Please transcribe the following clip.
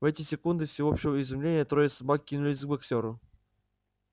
в эти секунды всеобщего изумления трое собак кинулись к боксёру